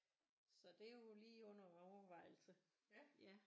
Så det er jo lige under overvejelse